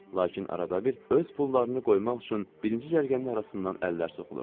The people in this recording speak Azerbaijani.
Lakin arada bir öz pullarını qoymaq üçün birinci cərgənin arasından əllər soxulurdu.